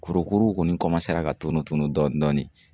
Kurukuru kɔni ka tunu dɔɔni dɔɔni.